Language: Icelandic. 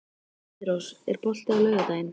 Heiðrós, er bolti á laugardaginn?